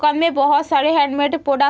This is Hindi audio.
में बोहोत सारे हैन्डमेड पोडक --